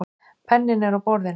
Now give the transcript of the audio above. Penninn er á borðinu.